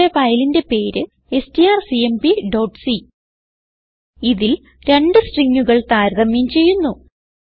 നമ്മുടെ ഫയലിന്റെ പേര് strcmpസി ഇതിൽ രണ്ട് stringകൾ താരതമ്യം ചെയ്യുന്നു